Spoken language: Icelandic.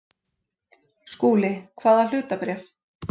SKÚLI: Hvaða hlutabréf?